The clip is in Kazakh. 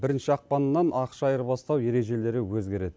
бірінші ақпаннан ақша айырбастау ережелері өзгереді